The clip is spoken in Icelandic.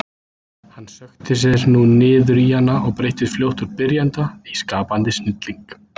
Hann sökkti sér nú niður í hana og breyttist fljótt úr byrjanda í skapandi snilling.